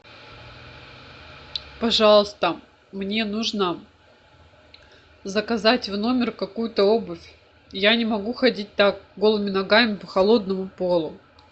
пожалуйста мне нужно заказать в номер какую то обувь я не могу ходить так голыми ногами по холодному полу